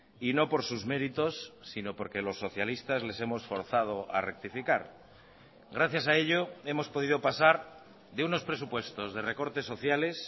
y no por sus méritos sino porque los socialistas les hemos forzado a rectificar gracias a ello hemos podido pasar de unos presupuestos de recortes sociales